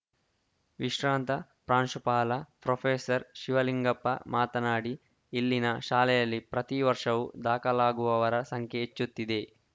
ವಿಶ್ರಾಂತ ಪ್ರಾಂಶುಪಾಲ ಪ್ರೊಫೆಸರ್ ಶಿವಲಿಂಗಪ್ಪ ಮಾತನಾಡಿ ಇಲ್ಲಿನ ಶಾಲೆಯಲ್ಲಿ ಪ್ರತಿವರ್ಷವೂ ದಾಖಲಾಗುವವರ ಸಂಖ್ಯೆ ಹೆಚ್ಚುತ್ತಿದೆ